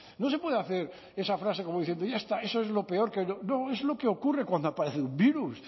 no se puede hacer esa frase como diciendo ya está eso es lo peor que no es lo que ocurre cuando aparece un virus